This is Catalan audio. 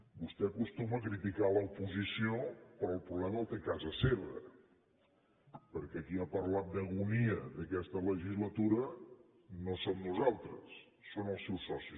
vostè acostuma a criticar l’oposició però el problema el té a casa seva perquè qui ha parlat d’agonia d’aquesta legislatura no som nosaltres són els seus socis